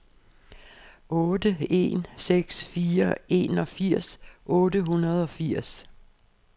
otte en seks fire enogfirs otte hundrede og firs